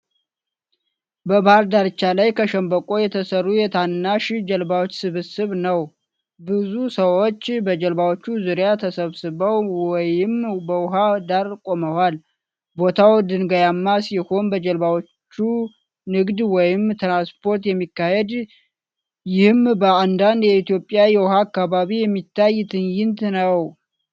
በባህር ዳርቻ ላይ ከሸምበቆ የተሠሩ የታናሽ ጀልባዎች ስብስብ ነው። ብዙ ሰዎች በጀልባዎቹ ዙሪያ ተሰብስበው ወይም በውሃ ዳር ቆመዋል። ቦታው ድንጋያማ ሲሆን በጀልባዎቹ ንግድ ወይም ትራንስፖርት የሚካሄድ ፤ ይህም በአንዳንድ የኢትዮጵያ የውሃ አካባቢዎች የሚታይ ትዕይንት ነው።